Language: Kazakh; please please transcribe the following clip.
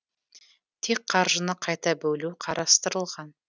тек қаржыны қайта бөлу қарастырылған